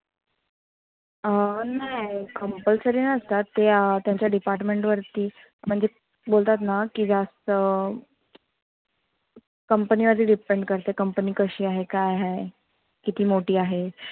अं नाय compulsory नसतात. ते अं त्यांच्या department वरती म्हणजे बोलतात ना की जास्त company वरती depend करतं company कशी आहे? काय आहे? किती मोठी आहे?